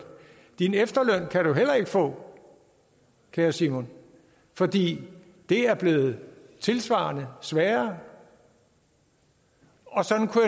din efterløn kan du heller ikke få kære simon fordi det er blevet tilsvarende sværere og sådan kunne